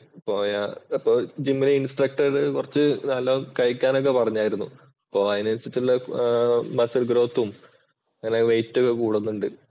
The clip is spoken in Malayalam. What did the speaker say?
പോയ അപ്പോൾ ജിമ്മിലെ ഇൻസ്ട്രക്ടർ കുറച്ചു നല്ല കഴിക്കാൻ ഒക്കെ പറഞ്ഞായിരുന്നു. അപ്പോ അതിനനുസരിച്ചുള്ള മസിൽ ഗ്രോത്തും അങ്ങനെ വെയിറ്റ് ഒക്കെ കൂടുന്നുണ്ട്.